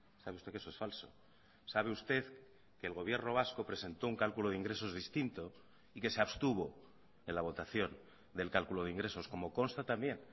sabe usted que eso es falso sabe usted que el gobierno vasco presentó un cálculo de ingresos distinto y que se abstuvo en la votación del cálculo de ingresos como consta también